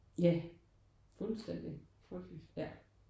Ja fuldstændig ja